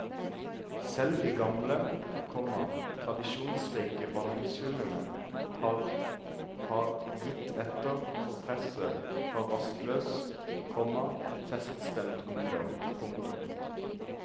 Selv de gamle, komma tradisjonsrike vanningshullene har har gitt etter for presset fra rastløs, komma feststemt ungdom. punktum